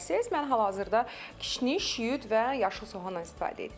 Mən hal-hazırda kişniş, şüyüd və yaşıl soğanla istifadə etdim.